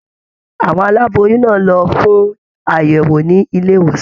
Àwọn aláboyún náà lọ fún àyẹwò nílé ìwòsàn.